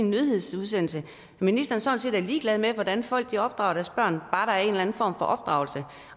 nyhedsudsendelse at ministeren sådan set er ligeglad med hvordan folk opdrager deres børn bare der er en form for opdragelse